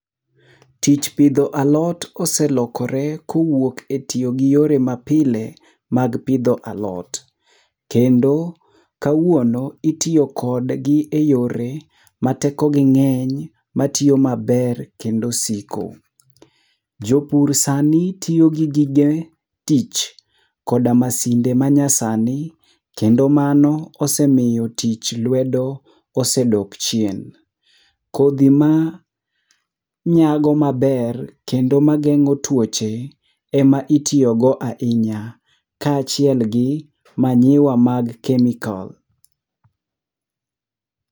Tich pidho alot oselokore kowuok e tiyo gi yore mapile mag pidho alot. Kendo kawuono, itiyo kodgi eyore matekogi ng'eny, matiyo maber kendo siko. Jopur sani tiyo gi gige tich koda masinde manyasani, kendo mano osemiyo tich lwedo ose odok chien. Kodhi ma nyago maber kendo mageng'o tuoche, ema itiyogo ahinya, kaachiel gi manyiwa mag chemical.